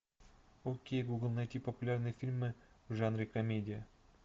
окей гугл найти популярные фильмы в жанре комедия